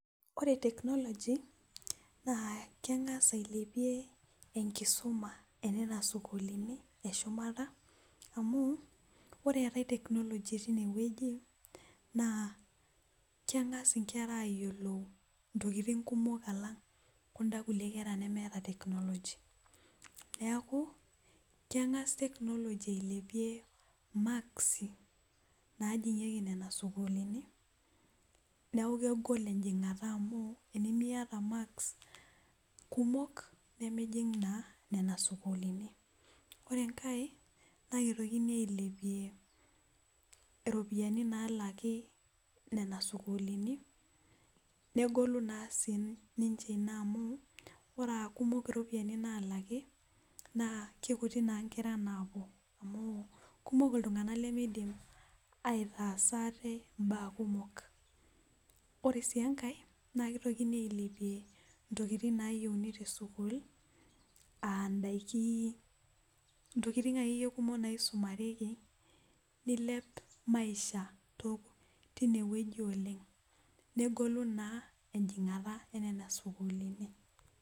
ore tekinoloji naa keng'as ailepie enkisuma enana sukuulini eshumata amu ore eeta tekinoloji tineweji naa keng'as inkera ayiolou intokitin kumok aalang' kuda kulie kera nemeeta tekinoloji , neeku keng'as tekinoloji ailepie imakisi naajing'iki nena sukuulinni neeku kegol ejing'ata amu tinimiyata imakisi kumok nimijing' naa nena sukuulini, ore enkae naa kitokini aliepie iropiyiani naa laki nena sukuulini negolu naa siininche ina amu ore aakumok iropiyiani naa laki naa kikuti naa inkera naapuo, kumok ilting'anak limidim aitaasa ate ibaa kumok , ore sii engae naa kitokini ailepie intokitin nayieuni tesukul aa idakin , intokitin akeyie kumok naisumareki nilep maisha tineweji oleng' negolu naa ejing'ata enana sukuulini.